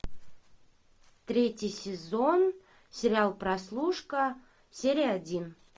третий сезон сериал прослушка серия один